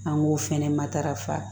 An k'o fɛnɛ matarafa